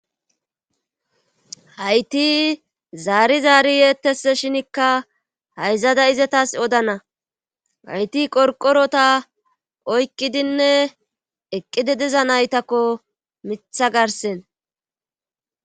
hayti zaari zaari yeettes shinikka hayzada izatas odana hayti qorqorota oykkidinne eqqidi diza naytakko mitha garsen